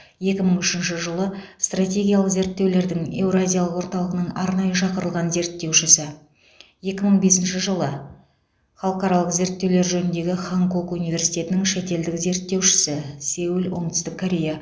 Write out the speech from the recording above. екі мың үшінші жылы стратегиялық зерттеулердің еуразиялық орталығының арнайы шақырылған зерттеушісі екі мың бесінші жылы халықаралық зерттеулер жөніндегі ханкук университетінің шетелдік зерттеушісі сеул оңтүстік корея